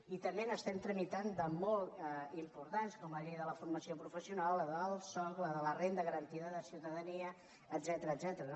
i també n’estem tramitant de molt importants com la llei de forma·ció professional la del soc la de la renda garantida de ciutadania etcètera